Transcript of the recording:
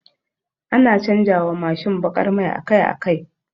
Ana canja wa Mashin bakar mai akai akai